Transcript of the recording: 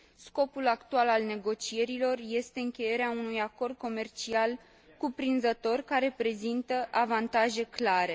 Scopul actual al negocierilor este încheierea unui acord comercial cuprinzător, care prezintă avantaje clare.